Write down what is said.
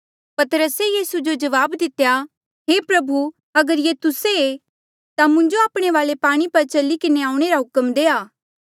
पतरसे यीसू जो जवाब दितेया हे प्रभु अगर ये तुस्से ऐें ता मुंजो आपणे वाले पाणी पर चली किन्हें आऊणें रा हुक्म देआ